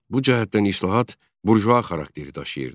Bu cəhətdən islahat burjua xarakteri daşıyırdı.